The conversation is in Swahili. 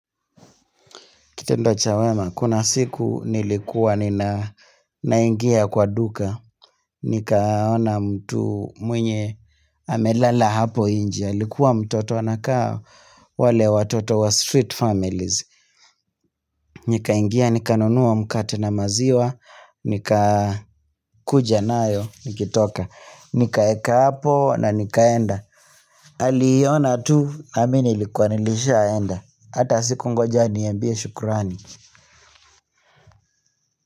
Kitendo cha wema, kuna siku nilikuwa nina naingia kwa duka, nikaona mtu mwenye amelala hapo nje, alikuwa mtoto anakaa wale watoto wa street families, nikaingia nikanunua mkate na maziwa nikakuja nayo nikitoka, nikaweka hapo na nikaenda, aliona tu na mimi nilikuwa nilishaenda, hata sikungoja aniambie shukurani.